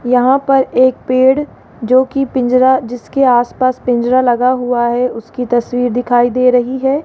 यहां पर एक पेड़ जो की पिंजरा जिसके आस पास पिंजरा लगा हुआ है उसकी तस्वीर दिखाई दे रही है।